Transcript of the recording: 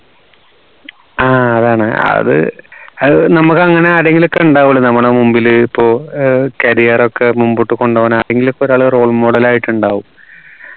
ആഹ് അതാണ് അത് അത് നമുക്ക് അങ്ങനെ ആരെങ്കിലും ഒക്കെ ഉണ്ടാവുല്ലോ നമ്മുടെ മുമ്പിൽ ഇപ്പോ ഏർ career ഒക്കെ മുമ്പോട്ട് കൊണ്ടുവാൻ ആരെങ്കിലും ഒക്കെ ഒരാൾ role model ആയിട്ട് ഉണ്ടാവും